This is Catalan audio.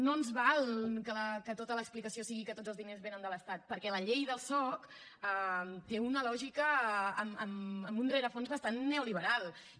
no ens val que tota l’explicació sigui que tots els diners venen de l’estat perquè la llei del soc té una lògica amb un rerefons bastant neoliberal i